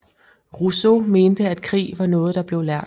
Rousseau mente at krig var noget der blev lært